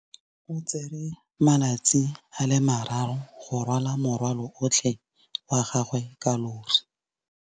O tsere malatsi a le marraro go rwala morwalo otlhe wa gagwe ka llori.